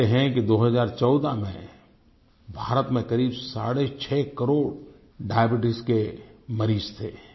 कहते हैं 2014 में भारत में क़रीब साडे छः करोड़ डायबीट्स के मरीज थे